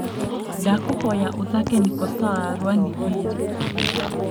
ndakũhoya ũthake niko sawa rwa nviiri